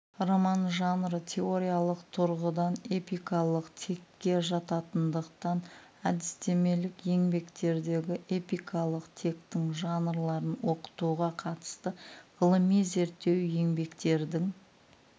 роман жанры теориялық тұрғыдан эпикалық текке жататындықтан әдістемелік еңбектердегі эпикалық тектің жанрларын оқытуға қатысты ғылыми зерттеу еңбектердің